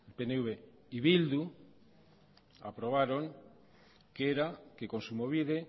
pnv y bildu aprobaron que era que kontsumobide